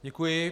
Děkuji.